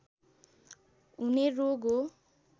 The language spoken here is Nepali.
हुने रोग हो